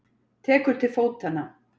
Tekur til fótanna.